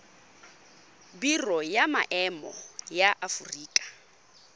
biro ya maemo ya aforika